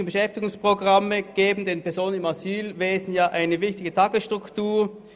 Gemeinnützige Beschäftigungsprogramme geben den Personen im Asylwesen eine wichtige Tagesstruktur.